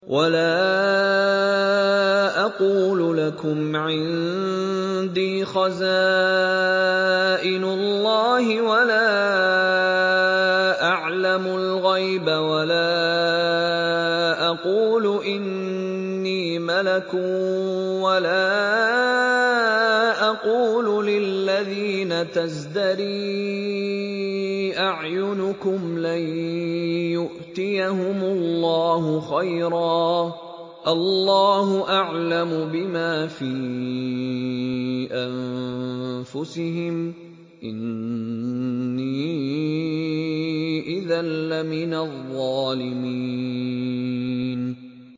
وَلَا أَقُولُ لَكُمْ عِندِي خَزَائِنُ اللَّهِ وَلَا أَعْلَمُ الْغَيْبَ وَلَا أَقُولُ إِنِّي مَلَكٌ وَلَا أَقُولُ لِلَّذِينَ تَزْدَرِي أَعْيُنُكُمْ لَن يُؤْتِيَهُمُ اللَّهُ خَيْرًا ۖ اللَّهُ أَعْلَمُ بِمَا فِي أَنفُسِهِمْ ۖ إِنِّي إِذًا لَّمِنَ الظَّالِمِينَ